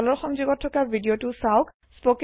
তলৰ সংযোগত থকা ভিদিয়তো চাওক